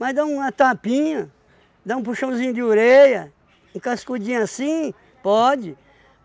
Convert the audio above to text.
Mas dá uma tapinha, dá um puxãozinho de orelha, um cascudinho assim, pode.